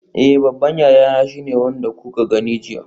Eh babban yayana shine wanda kuka gani jiya.